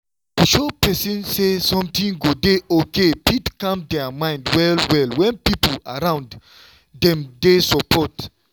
to show person say everything go dey okay fit calm their mind well-well when people around them dey support.